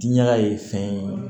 Diɲɛ ye fɛn ye